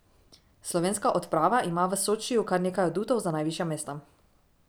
Slovenska odprava ima v Sočiju kar nekaj adutov za najvišja mesta.